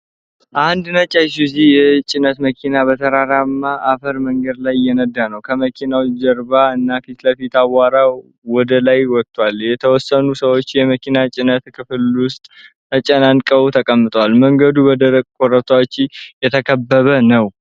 አንድ ነጭ አይሱዙ (ISUZU) የጭነት መኪና በተራራማ አፈር መንገድ ላይ እየነዳ ነው። ከመኪናው ጀርባና ፊት ለፊት አቧራ ወደ ላይ ወጥቷል። የተወሰኑ ሰዎች የመኪናው ጭነት ክፍል ውስጥ ተጨናንቀው ተቀምጠዋል፡፡ መንገዱ በደረቁ ኮረብታዎች የተከበበ ነው።